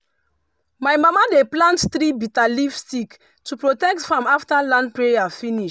my mama dey plant three bitterleaf stick to protect farm after land prayer finish.